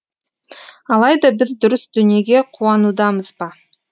алайда біз дұрыс дүниеге қуанудамыз ба